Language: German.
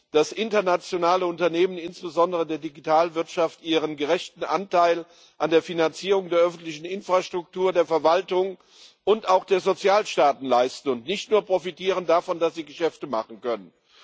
dass internationale Unternehmen insbesondere der Digitalwirtschaft ihren gerechten Anteil an der Finanzierung der öffentlichen Infrastruktur, der Verwaltung und auch der Sozialstaaten leisten und nicht nur davon profitieren, dass sie Geschäfte machen können.